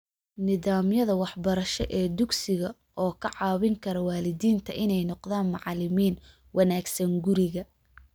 Nidaamyada waxbarasho ee dugsiga, oo ka caawin kara waalidiinta inay noqdaan "macalimiin" wanaagsan guriga.